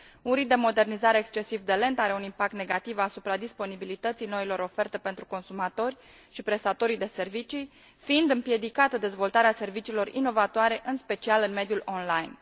Un ritm de modernizare excesiv de lent are un impact negativ asupra disponibilității noilor oferte pentru consumatori și prestatorii de servicii, fiind împiedicată dezvoltarea serviciilor inovatoare, în special în mediul online.